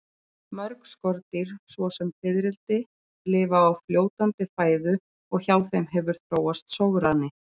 Mörg skordýr svo sem fiðrildi, lifa á fljótandi fæðu og hjá þeim hefur þróast sograni.